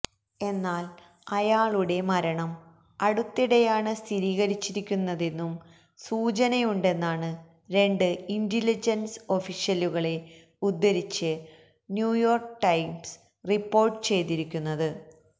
എന്നാല് അയാളുടെ മരണം അടുത്തിടെയാണ് സ്ഥിരീകരിച്ചിരിക്കുന്നതെന്നും സൂചനയുണ്ടെന്നാണ് രണ്ട് ഇന്റലിജന്സ് ഒഫീഷ്യലുകളെ ഉദ്ധരിച്ച് ന്യൂയോര്ക്ക് ടൈംസ് റിപ്പോര്ട്ട് ചെയ്തിരിക്കുന്നത്